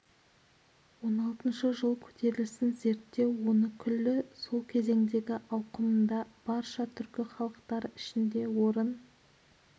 он алтыншы жыл көтерілісін зерттеу оны күллі сол кезеңдегі ауқымында барша түркі халықтары ішінде орын